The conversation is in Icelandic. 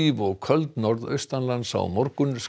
og köld norðaustanlands á morgun